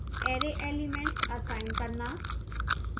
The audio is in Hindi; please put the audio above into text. array elements असाइन करना